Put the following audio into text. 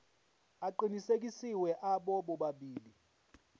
aqinisekisiwe abo bobabili